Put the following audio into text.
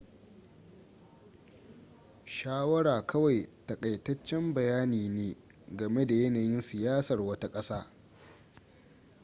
shawara kawai takaitaccen bayani ne game da yanayin siyasar wata kasa